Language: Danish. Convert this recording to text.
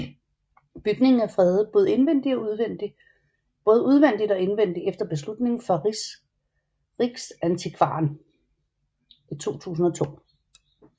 Bygningen er fredet både udvendigt og indvendigt efter beslutning fra Riksantikvaren i 2002